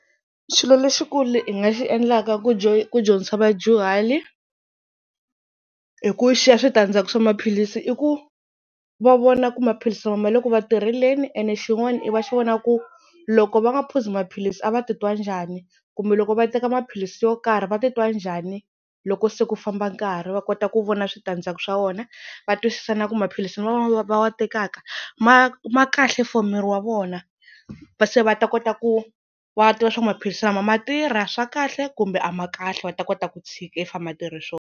Xilo lexikulu hi nga xi endlaka ku ku dyondzisa vadyuhari hi ku xiya switandzhaku swa maphilisi i ku va vona ku maphilisi lama ma le ku va tirheleni, ene xin'wana i va xi vona ku loko va nga phuzi maphilisi a va titwa njhani kumbe loko va teka maphilisi yo karhi va titwa njhani loko se ku famba nkarhi. Va kota ku vona switandzhaku swa wona va twisisa na ku maphilisi lawa va wa tekaka ma ma kahle for miri wa vona, se va ta kota ku va twa swaku maphilisi lama ma tirha swa kahle kumbe a ma kahle va ta kota ku tshika if a ma tirhi swona.